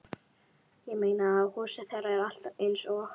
Ég meina, húsið þeirra er alltaf eins og